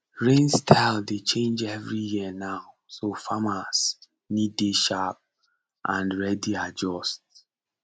rain style dey change every year now so farmers need dey sharp and ready adjust